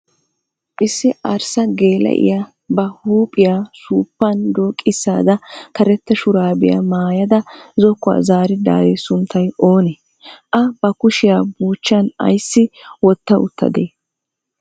Iss arssa geela'iya ba huuphiya suuppan dooqissada karetta shuraabiya mayada zokkuwa zaaridaari sunttay oonee? A bakushiya buuchchan ayissi wotta uttadee?